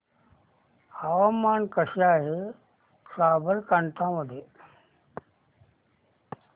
हवामान कसे आहे साबरकांठा मध्ये